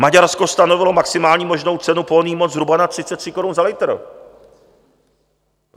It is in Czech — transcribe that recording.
Maďarsko stanovilo maximální možnou cenu pohonných hmot zhruba na 33 korun za litr.